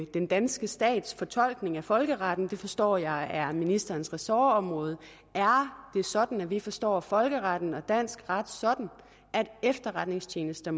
den danske stats fortolkning af folkeretten for det forstår jeg er ministerens ressortområde er det sådan at vi forstår folkeretten og dansk ret sådan at efterretningstjenester